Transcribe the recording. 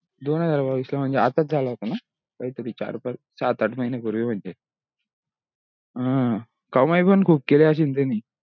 दोन हजार बावीस ला महणजे आताच झाला होता ना काही तरी चार पाच संत आठ महीने पूर्वी म्हणजे अं कामाई पण खूप केली असेल त्याने